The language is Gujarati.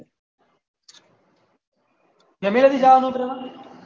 family થી જવાનું ઉતરેલા